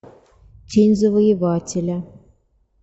тень завоевателя